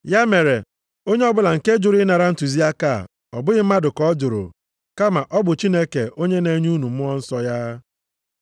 Ya mere, onye ọbụla nke jụrụ ịnara ntụziaka a, ọ bụghị mmadụ ka ọ jụrụ, kama ọ bụ Chineke onye na-enye unu Mmụọ Nsọ ya.